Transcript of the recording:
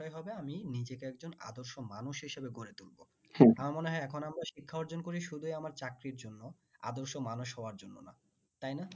আমি নিজেকে একজন আদর্শ মানুষ হিসাবে গড়ে তুলবো মনে হয় এখন আমরা শিক্ষা অর্জন করি শুধুই আমার চাকরির জন্য আদর্শ মানুষ হওয়ার জন্য না তাই না